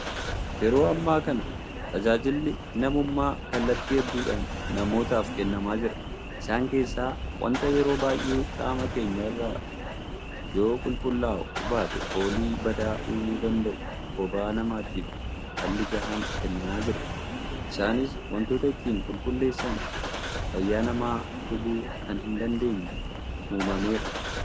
Yeroo ammaa kana tajaajilli namummaa kallattii hedduudhaan namootaaf kennamaa jira. Isaan keessaa waanta yeroo baay'ee qaama keenya irraa yoo qulqullaa'uu baate foolii badaa uumuu danda'u bobaa namaatiif falli gahaan kennamaa jira. Isaanis waantota ittiin qulqulleessan fayyaa namaa hubuu kan hin dandeenye uumameera.